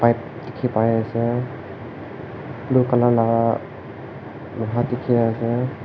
dekhi pai ase blue colour laga loha dekhi ase.